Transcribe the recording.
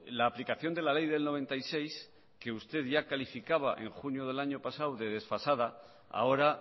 la aplicación de la ley del noventa y seis que usted ya calificaba en junio del año pasado de desfasada ahora